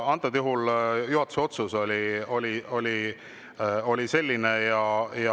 Antud juhul juhatuse otsus oli selline.